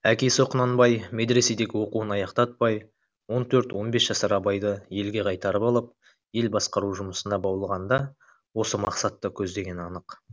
әкесі құнанбай медреседегі оқуын аяқтатпай он төрт он бес жасар абайды елге қайтарып алып ел басқару жұмысына баулығанда осы мақсатты көздегені анық